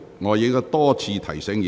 我已多次提醒委員。